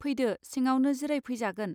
फैदो सिङावनो जिराय फैजागोन.